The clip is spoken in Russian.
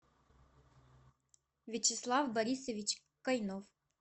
вячеслав борисович кайнов